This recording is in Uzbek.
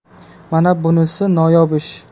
Mana bunisi noyob ish.